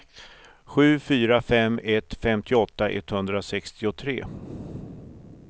sju fyra fem ett femtioåtta etthundrasextiotre